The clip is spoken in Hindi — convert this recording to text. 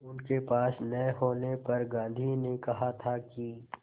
उनके पास न होने पर गांधी ने कहा था कि